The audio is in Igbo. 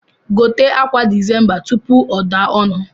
Gote akwa desemba tupu o daa onu